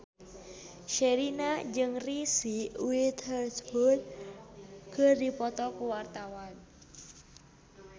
Sherina jeung Reese Witherspoon keur dipoto ku wartawan